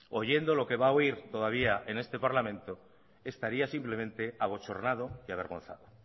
oyendo lo que va a oír todavía en este parlamento estaría simplemente abochornado y avergonzado